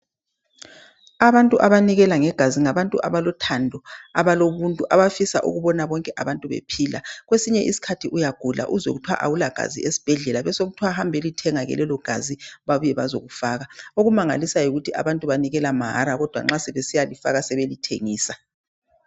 Abantu abanikela ngegazi ngabantu abalothando abalobuntu. Abafisa ukubona bonke abantu bephila. Kwesinye isikhathi uyagula uzwe kuthiwa awula gazi esibhedlela .Besekuthiwa hambelithenga lelogazi babuye bazelifaka. Okumangalisayo yikuthi abantu banikela mahara kodwa nxa sebesiyalifaka sebelithengisa.